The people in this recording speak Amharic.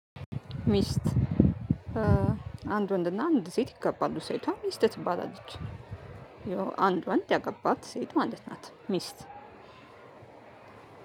ሚስት አንድ ወንድና አንድ ሴት ይጋባሉ ሴቷ ሚስት ትባላለች አንድ ወንድ ያገባት ሴት ማለት ናት ሚስት።